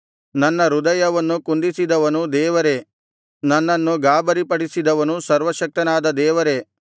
ನನ್ನ ಹೃದಯವನ್ನು ಕುಂದಿಸಿದವನು ದೇವರೇ ನನ್ನನ್ನು ಗಾಬರಿಪಡಿಸಿದವನು ಸರ್ವಶಕ್ತನಾದ ದೇವರೇ